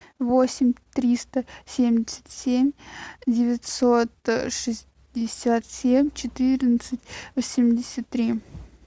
восемь триста семьдесят семь девятьсот шестьдесят семь четырнадцать восемьдесят три